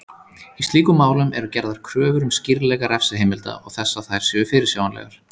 Í slíkum málum eru gerðar kröfur um skýrleika refsiheimilda og þess að þær séu fyrirsjáanlegar.